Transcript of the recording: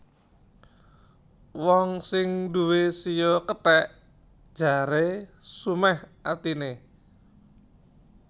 Wong sing nduwé shio kethèk jaré sumèh atiné